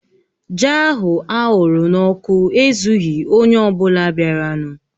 Ji ahụ aghụrụ n'ọkụ ezughi onye ọ bụla bịaranụ